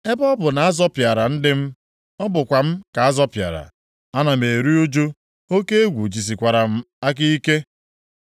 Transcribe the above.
Ebe ọ bụ na a zọpịara ndị m, ọ bụkwa m ka azọpịara. Anam eru ụjụ, oke egwu jisikwara m aka ike.